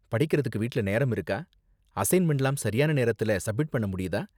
படிக்கறதுக்கு வீட்ல நேரம் இருக்கா? அசைன்மெண்ட்லாம் சரியான நேரத்துல சப்மிட் பண்ண முடியுதா?